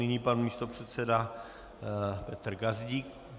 Nyní pan místopředseda Petr Gazdík.